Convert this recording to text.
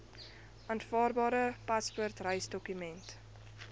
aanvaarbare paspoort reisdokument